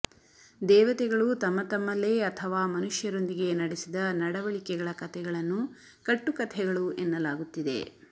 ದೇವತೆಗಳು ತಮ್ಮತಮ್ಮಲ್ಲೇ ಅಥವಾ ಮನುಷ್ಯರೊಂದಿಗೆ ನಡೆಸಿದ ನಡವಳಿಕೆಗಳ ಕತೆಗಳನ್ನು ಕಟ್ಟುಕಥೆಗಳು ಎನ್ನಲಾಗುತ್ತಿದೆ